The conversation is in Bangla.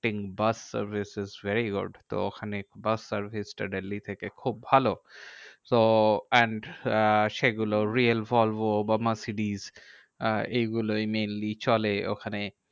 Bus service is very good. তো ওখানে বাস service টা দিল্লী থেকে খুব ভালো। so and আহ সেগুলো real ভলবো বা মার্সিটিজ আহ এগুলোই mainly চলে ওখানে।